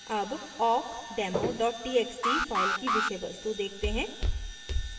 अब awkdemo txt file की विषय वस्तु देखते हैं